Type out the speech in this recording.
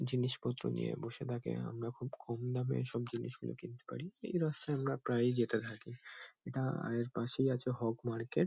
জিনিসপত্র নিয়ে বসে থাকে। আমরা খুব কম দামে এসব জিনিসগুলো কিনতে পারি। এই রাস্তায় আমরা প্রায়ই যেতে থাকি। এটা-এর পাশেই আছে হগ মার্কেট ।